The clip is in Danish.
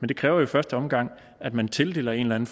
det kræver i første omgang at man tildeler en